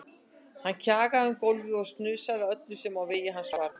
Hann kjagaði um gólfið og snusaði að öllu sem á vegi hans varð.